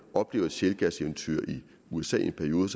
oplever et shellgaseventyr i usa i en periode